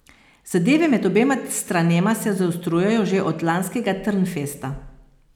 Zadeve med obema stranema se zaostrujejo že od lanskega Trnfesta.